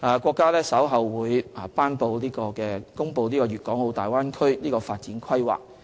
國家將於稍後頒布《粵港澳大灣區城市群發展規劃》。